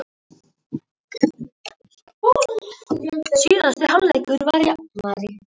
Okkur Pálínu langar að koma á framfæri þökkum til allra í sveitinni.